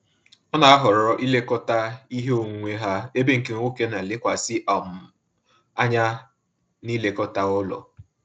Ọ na-ahọrọ ilekọta ihe onwunwe ha, ebe nke nwoke na elekwasi um anya na-ilekọta ụlọ